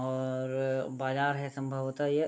और बाजार है संभवतः यह।